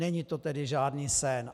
Není to tedy žádný sen.